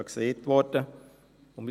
Das wurde ja erwähnt.